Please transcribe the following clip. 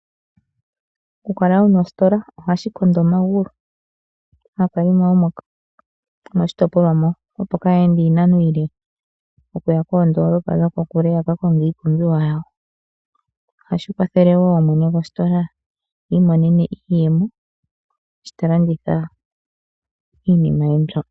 Okukala wuna ositola ohashi kondo omagulu aakalimo yomoshitopolwa mo opo kaa ye ende iinano iile okuya koondoolopa dhokokule yaka konge iipumbiwa yawo. Ohashi kwathele wo mwene gositola iimonene iiyemo sho ta landitha iinima ye mbyo.